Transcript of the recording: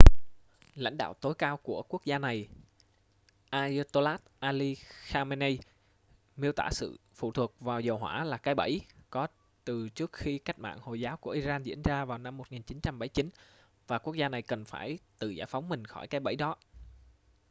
lãnh đạo tối cao của quốc gia này ayatollah ali khamenei miêu tả sự phụ thuộc vào dầu hỏa là cái bẫy có từ trước khi cách mạng hồi giáo của iran diễn ra vào năm 1979 và quốc gia này cần phải tự giải phóng mình khỏi cái bẫy đó